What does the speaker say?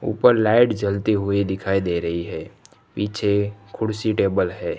ऊपर लाइट जलते हुए दिखाई दे रही है पीछे कुर्सी टेबल है।